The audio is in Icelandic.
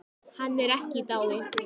Hann er ekki í dái.